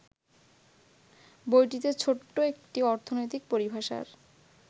বইটিতে ছোট্ট একটি অর্থনৈতিক পরিভাষার